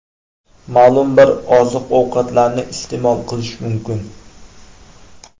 Ma’lum bir oziq-ovqatlarni iste’mol qilish mumkin.